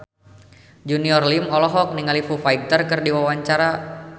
Junior Liem olohok ningali Foo Fighter keur diwawancara